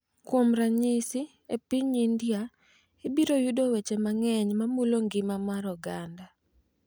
Kuom ranyisi, e piny India, ibiro yudo weche mang’eny ma mulo ngima mar oganda .